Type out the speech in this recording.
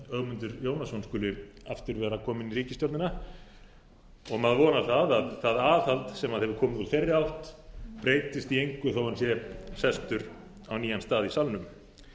ögmundur jónasson skuli aftur vera kominn í ríkisstjórnina og maður vonar að það aðhald sem hefur komið úr þeirri átt breytist í engu þó hann sé sestur á nýja stað í salnum